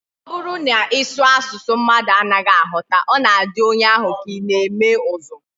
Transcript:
Ọ bụrụ na ị sụọ asụsụ mmadụ anaghị aghọta, ọ na-adị onye ahụ ka ị na-eme ụzụ